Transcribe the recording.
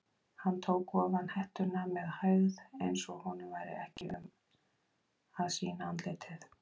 Hann tók ofan hettuna með hægð eins og honum væri ekki um að sýna andlitið.